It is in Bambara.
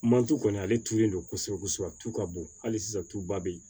Mantu kɔni ale turulen don kosɛbɛ kosɛbɛ tu ka bon hali sisan tuba bɛ yen